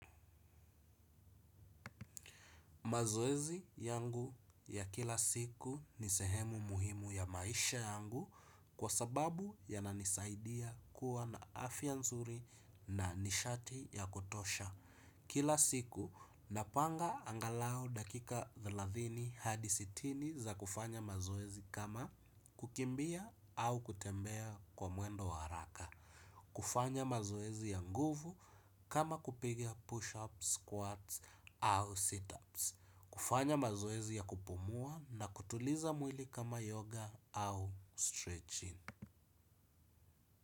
Mazoezi yangu ya kila siku ni sehemu muhimu ya maisha yangu kwa sababu yananisaidia kuwa na afya nzuri na nishati ya kutosha. Kila siku napanga angalau dakika thelathini hadi sitini za kufanya mazoezi kama kukimbia au kutembea kwa mwendo wa haraka. Kufanya mazoezi ya nguvu kama kupiga push-ups, squats au sit-ups. Kufanya mazoezi ya kupumua na kutuliza mwili kama yoga au stretching.